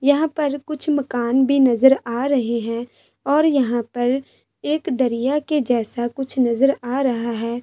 यहां पर कुछ मकान भी नजर आ रहे हैं और यहां पर एक दरिया के जैसा कुछ नजर आ रहा है ।